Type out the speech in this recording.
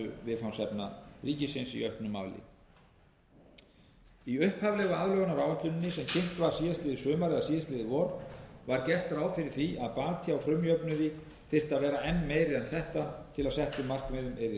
viðfangsefna ríkisins í auknum mæli í upphaflegu aðlögunaráætluninni sem kynnt var í fyrravor var gert ráð fyrir því að bati á frumjöfnuði þyrfti að vera enn meiri en þetta til að settum markmiðum yrði náð það er rúmlega sextán prósent